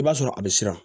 I b'a sɔrɔ a bɛ siran